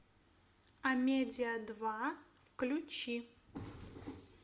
амедиа два включи